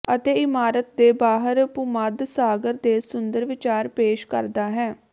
ਅਤੇ ਇਮਾਰਤ ਦੇ ਬਾਹਰ ਭੂਮੱਧ ਸਾਗਰ ਦੇ ਸੁੰਦਰ ਵਿਚਾਰ ਪੇਸ਼ ਕਰਦਾ ਹੈ